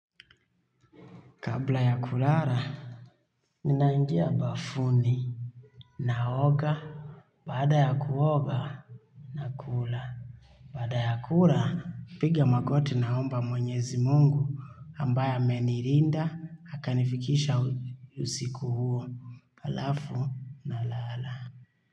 Kabla ya kulala. Ninaingia bafuni, naoga, baada ya kuoga, nakula, baada ya kula, napiga magoti naomba Mwenyezi Mungu, ambaye amenilinda, akanifikisha usiku huo, halafu.